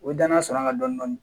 U bɛ danaya sɔrɔ an ka dɔn